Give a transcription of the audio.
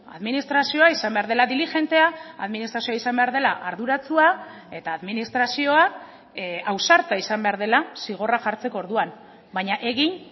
administrazioa izan behar dela dilijentea aadministrazioa izan behar dela arduratsua eta administrazioa ausarta izan behar dela zigorra jartzeko orduan baina egin